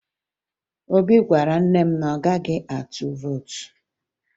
Obi gwara nne ya na ọ gaghị atụ vootu